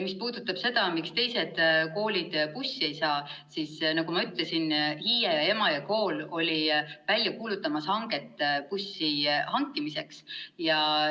Mis puudutab seda, miks teised koolid bussi ei saa, siis nagu ma ütlesin, Hiie ja Emajõe kool olid just välja kuulutamas hanget bussi hankimiseks.